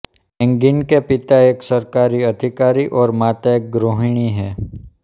again के पिता एक सरकारी अधिकारी और माता एक गृहणी हैं